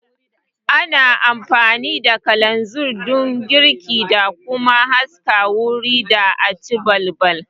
Ana amfani da kalanzir don girki da kuma haska wuri da aci balbal